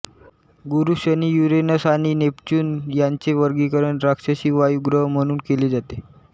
गुरू शनी युरेनस आणि नेपच्यून यांचे वर्गीकरण राक्षसी वायू ग्रह म्हणून केले जाते